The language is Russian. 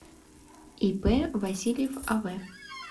ип васильев ав